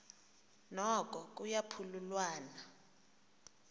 noko kuya phululwana